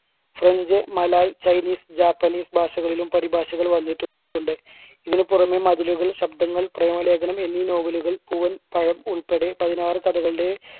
franch, malay, chinese, japanese ഭാഷകളിലും പരിഭാഷകൾ വന്നിട്ടു~ണ്ട്. ഇതിന് പുറമേ മതിലുകൾ, ശബ്ദങ്ങൾ, പ്രേമലേഖനം എന്നീ novel കൾ പൂവൻ പഴം ഉൾപ്പെടെ പതിനാറ് കഥകളുടെ